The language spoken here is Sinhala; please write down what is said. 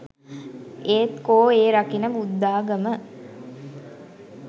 ඒත් කෝ ඒ රකින බුද්ධාගම